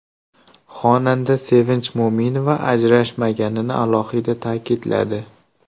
Xonanda Sevinch Mo‘minova ajrashmaganini alohida ta’kidladi.